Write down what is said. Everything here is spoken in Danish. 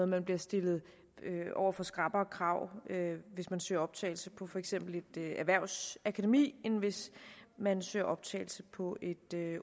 man bliver stillet over for skrappere krav hvis man søger optagelse på for eksempel et erhvervsakademi end hvis man søger optagelse på et